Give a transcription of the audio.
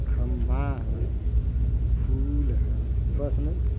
खम्बा है फूल है बस नहीं।